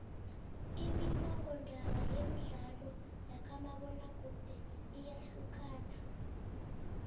imimmongondaba yemdlalo yakamabona kude iyahlukana